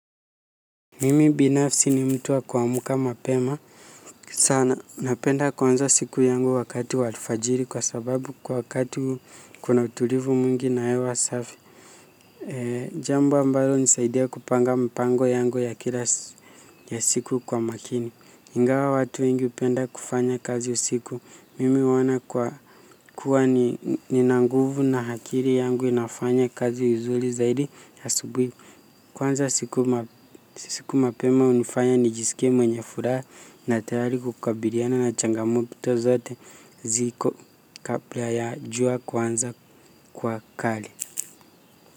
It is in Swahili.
Mimi binafsi ni mtu wa kuamka mapema sana napenda kuanza siku yangu wakati wa alfajiri kwa sababu kwa wakati huu kuna utulivu mwingi na hewa safi. Jambo ambalo unisaidia kupanga mpango yangu ya kila ya siku kwa makini. Ingawa watu wengi upenda kufanya kazi usiku mimi uona kwa kuwa ni nanguvu na akili yangu inafanya kazi vizuli zaidi asubui. Kuanza siku mapema unifanya nijiskie mwenye furaha na tayari kukabiliana na changamoto zote ziko kapla ya jua kuanza kuwa kali.